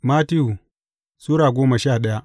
Mattiyu Sura goma sha daya